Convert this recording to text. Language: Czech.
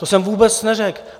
To jsem vůbec neřekl.